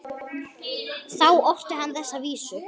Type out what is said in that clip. Þá orti hann þessa vísu